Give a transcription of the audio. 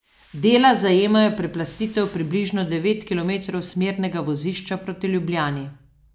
Dela zajemajo preplastitev približno devet kilometrov smernega vozišča proti Ljubljani.